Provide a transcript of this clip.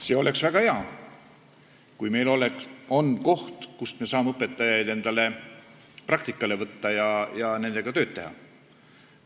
See oleks väga hea, kui meil oleks koht, kust me saame õpetajaid praktikale võtta ja nendega tööd teha.